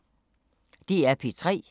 DR P3